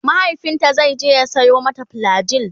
mahaifinta zaije ya Sayo mata flagyl